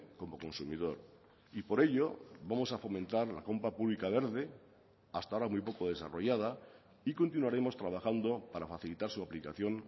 como consumidor y por ello vamos a fomentar la compra pública verde hasta ahora muy poco desarrollada y continuaremos trabajando para facilitar su aplicación